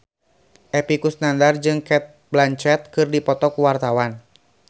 Epy Kusnandar jeung Cate Blanchett keur dipoto ku wartawan